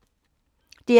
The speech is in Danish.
DR P2